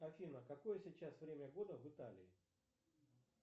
афина какое сейчас время года в италии